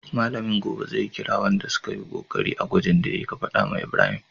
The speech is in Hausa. Mallamin gobe zai kira sunan wanda sukayi kokari a gwajin da yayi, ka fada wa Ibrahim